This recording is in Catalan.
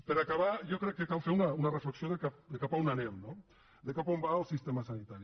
per acabar jo crec que cal fer una reflexió de cap a on anem no de cap a on va el sistema sanitari